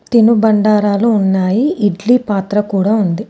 తినుబండారాలు ఉన్నాయి ఇడ్లీ పాత్ర కూడా ఉంది.